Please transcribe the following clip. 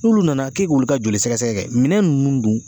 N'olu nana k'e k'olu ka joli sɛgɛsɛgɛ kɛ minɛn nunnu dun